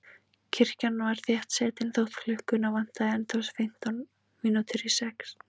Kirkjan var þéttsetin þótt klukkuna vantaði ennþá fimmtán mínútur í sex.